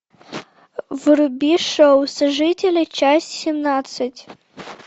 вруби шоу сожители часть семнадцать